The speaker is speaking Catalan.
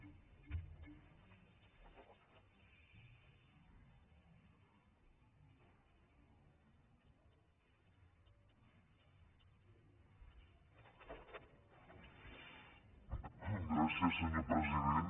gràcies senyor president